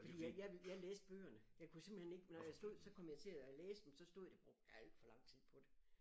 Fordi jeg jeg læste bøgerne jeg kunne simpelthen ikke når jeg stod så kom jeg til at læse dem så stod jeg brugte jeg al for lang tid på det